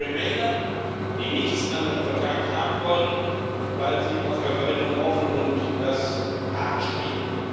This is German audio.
Da sind die die keinen Vertrag haben wollen, weil sie auf ein Referendum hoffen, und das hart spielen.